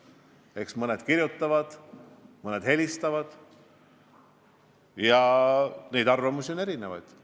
Eks mõned kirjutavad, mõned helistavad, ja arvamusi on erinevaid.